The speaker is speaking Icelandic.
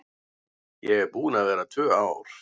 Ég er búin að vera tvö ár.